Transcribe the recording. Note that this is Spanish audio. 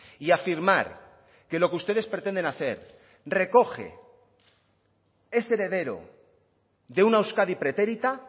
y afirmar que lo que ustedes pretenden hacer recoge ese heredero de una euskadi pretérita